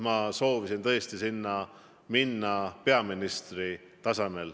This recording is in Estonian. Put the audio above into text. Nii soovisin ma minna sinna peaministrina riiki esindama.